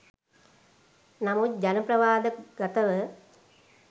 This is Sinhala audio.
නමුත් ජන ප්‍රවාද ගතව